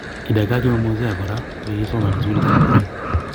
kidagaa kimemuozea kora kogigisoman eng sugulit ap kwen